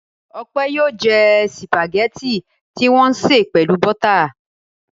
Ọpẹ́ yóò jẹ sìpàgẹ́tì tí wọ́n sè pelu bọ́tà.